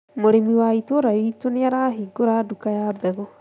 Mũrĩmi wa itũra riitũ nĩarahingũra nduka ya mbegũ